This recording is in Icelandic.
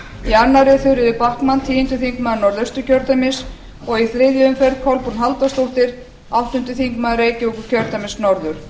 í annarri þuríður backman tíundi þingmaður norðausturkjördæmis og í þriðju umferð kolbrún halldórsdóttir áttundi þingmaður reykjavíkurkjördæmis norður